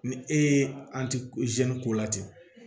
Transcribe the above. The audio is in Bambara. Ni e ye ko la ten